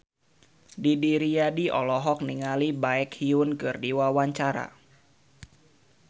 Didi Riyadi olohok ningali Baekhyun keur diwawancara